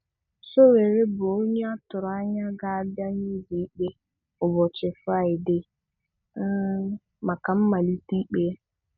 Sowore bụ ónyé atụrụ anya ga-abịa n'ụlọikpe ụbọchị Fraịdee um maka mmalite ikpe ya.